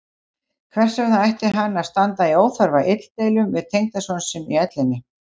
Hvers vegna ætti hann að standa í óþarfa illdeilum við tengdason sinn í ellinni?